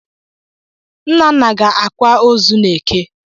Nnena ga-akwa ozu n’Eke